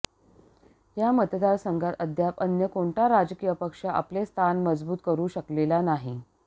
या मतदारसंघात अद्याप अन्य कोणता राजकीय पक्ष आपले स्थान मजबूत करू शकलेला नाही